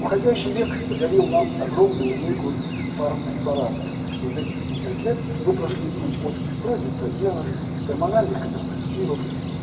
уходящий век подарил нам огромную линейку фармпрепаратов вот эти пятьдесят лет мы прошли путь от прогестагенов гормональных контрацептивов